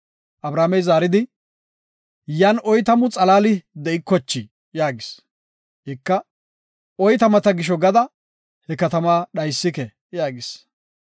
Abrahaamey zaaridi, “Yan oytamu xalaali de7ikochii?” yaagis. Ika, “Oytamata gisho gada he katama dhaysike” yaagis.